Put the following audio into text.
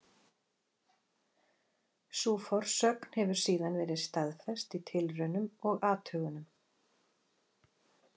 Sú forsögn hefur síðan verið staðfest í tilraunum og athugunum.